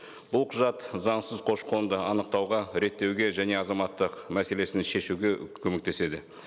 бұл құжат заңсыз көші қонды анықтауға реттеуге және азаматтық мәселесін шешуге көмектеседі